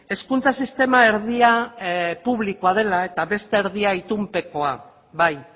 hezkuntza sistema erdia publikoa dela eta beste erdia itunpekoa bai